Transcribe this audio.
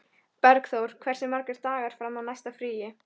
Bergþór, hversu margir dagar fram að næsta fríi?